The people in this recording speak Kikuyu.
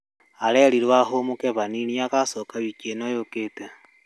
Arerirwo ahũmũke hanini agacoka wiki ĩno yũkĩte